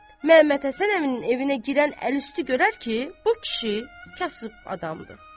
Məmmədhəsən əminin evinə girən əlüstü görər ki, bu kişi kasıb adamdır.